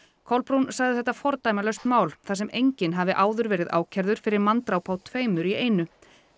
Kolbrún sagði þetta fordæmalaust mál þar sem enginn hafi áður verið ákærður fyrir manndráp á tveimur í einu